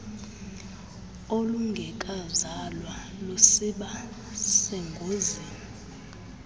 olungekazalwa lusiba sengozini